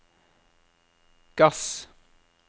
gass